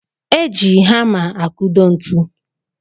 E ji hama akudo ntụ